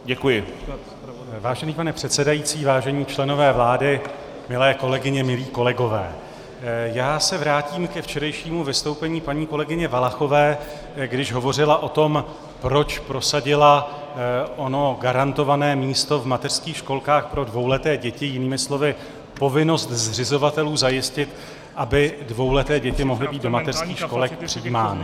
Vážený pane předsedající, vážení členové vlády, milé kolegyně, milí kolegové, já se vrátím ke včerejšímu vystoupení paní kolegyně Valachové, když hovořila o tom, proč prosadila ono garantované místo v mateřských školkách pro dvouleté děti, jinými slovy povinnost zřizovatelů zajistit, aby dvouleté děti mohly být do mateřských školek přijímány.